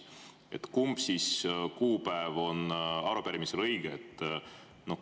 Aga kumb kuupäev on siis arupärimisel õige?